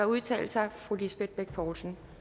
udtale sig fru lisbeth bech poulsen